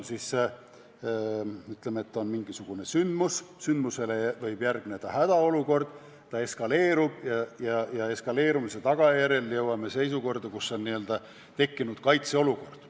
Ütleme, et on mingisugune sündmus, sündmusele võib järgneda hädaolukord, see eskaleerub ja eskaleerumise tagajärjel jõuame sinnamaani, et on tekkinud kaitseolukord.